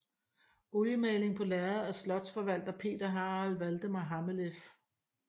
Oliemaling på lærred af slotsforvalter Peter Harald Valdemar Hammeleff